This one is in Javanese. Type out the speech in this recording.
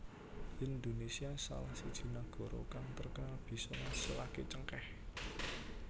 Indonesia salah siji nagara kang terkenal bisa ngasilaké cengkèh